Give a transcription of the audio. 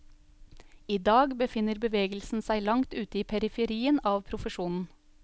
I dag befinner bevegelsen seg langt ute i periferien av profesjonen.